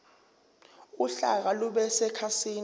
uhlaka lube sekhasini